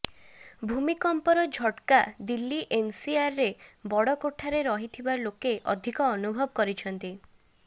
ଭୂମିକମ୍ପର ଝଟ୍କା ଦିଲ୍ଲୀ ଏନ୍ସିଆର୍ରରେ ବଡ଼ କୋଠାରେ ରହିଥିବା ଲୋକେ ଅଧିକ ଅନୁଭବ କରିଛନ୍ତି